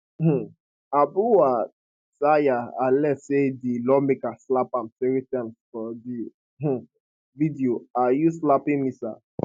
um abuwatseya allege say di lawmaker slap am three times for di um video are you slapping me sir